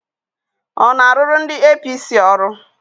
Ọ na-arụrụ ndị APC ọrụ?